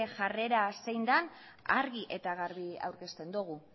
jarrera zein den argi eta garbi aurkezten dugu